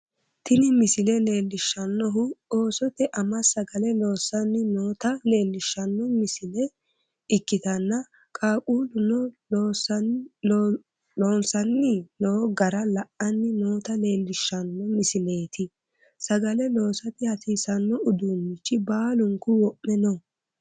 Tini misile leellishshannohu Oosote ama sagale loossanni noota leellishshanno misile ikkitanna, qaaqqulluno loossanni no gara la'anni noota leellishshanno misileeti, sagale loosate hasiisanno uduunnichi baalunku wo'me no.